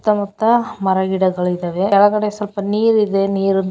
ಸುತ್ತ ಮುತ್ತ ಮರ ಗಿಡಗಳು ಇದ್ದಾವೆ ಕೆಳಗಡೆ ಸ್ವಲ್ಪ ನೀರು ಇದೆ ನೀರನು--